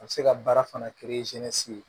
A bɛ se ka baara fana